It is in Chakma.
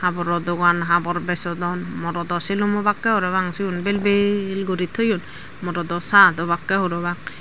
goro dogan morodo habor bejodon morodo sulum obakke parapang sigun bel bel guri toyon morodo shad obakke parapang.